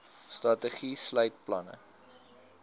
strategie sluit planne